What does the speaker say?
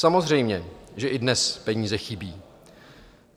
Samozřejmě, že i dnes peníze chybí.